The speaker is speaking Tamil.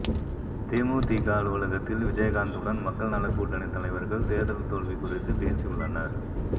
தேமுதிக அலுவலகத்தில் விஜயகாந்துடன் மக்கள் நலக் கூட்டணி தலைவர்கள் தேர்தல் தோல்வி குறித்து பேசியுள்ளனர்